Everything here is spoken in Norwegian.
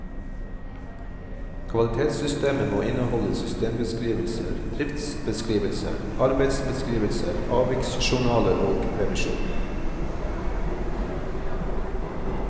Kvalitetssystemet må innehalde systembeskrivelser, driftsbeskrivelser, arbeidsbeskrivelser, avviksjournaler og revisjon.